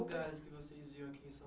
Que lugares vocês iam aqui em São Paulo, .